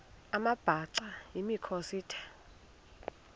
amabhaca yimikhosi the